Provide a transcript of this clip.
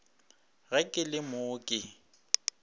ge ke le mo ke